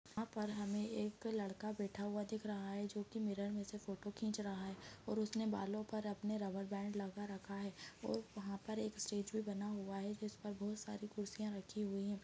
यहाँ पर हमें एक लड़का बैठा हुआ दिख रहा है जो की मिरर मे से फोटो खींच रहा है और उसने बालों पर अपने रब्बर बैंड लगा रखा है और वहाँ पर एक स्टेज भी बना हुआ है जिस पर बहुत सारी कुर्सियाँ रखी हुई है।